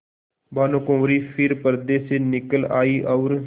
भानुकुँवरि फिर पर्दे से निकल आयी और